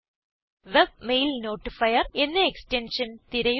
webmail notifier എന്ന extension തിരയുക